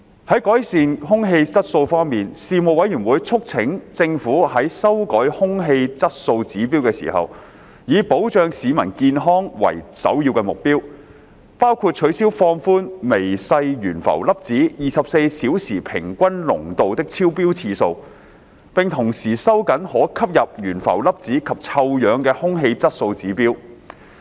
在改善空氣質素方面，事務委員會促請政府在修改空氣質素指標時，以保障市民健康為首要目標，包括取消放寬微細懸浮粒子24小時平均濃度的超標次數，並同時收緊可吸入懸浮粒子及臭氧的空氣質素指標。